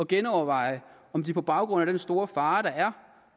genoverveje om de på baggrund af den store fare der